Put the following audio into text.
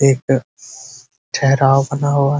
एक ठहराव बना हुआ है।